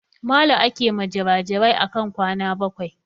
Malu ake ma jirajirai akan kwana bakwai